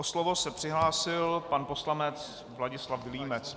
O slovo se přihlásil pan poslanec Vladislav Vilímec.